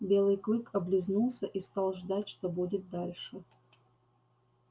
белый клык облизнулся и стал ждать что будет дальше